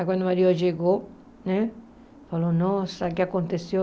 Aí quando o marido chegou, né falou, nossa, o que aconteceu?